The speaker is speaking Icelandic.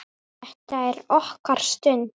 Þetta er okkar stund.